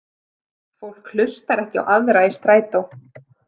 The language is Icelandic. Fólk hlustar ekki á aðra í strætó.